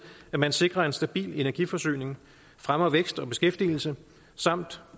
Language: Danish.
at man sikrer en stabil energiforsyning fremmer vækst og beskæftigelse samt